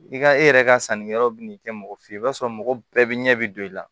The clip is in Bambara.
I ka e yɛrɛ ka sannikɛlaw bɛ n'i kɛ mɔgɔ fe ye i b'a sɔrɔ mɔgɔ bɛɛ bɛ ɲɛ bi don i la